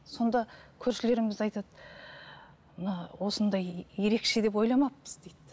сонда көршілеріміз айтады мына осындай ерекше деп ойламаппыз дейді